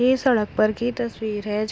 ए सड़क पर की तस्वीर है।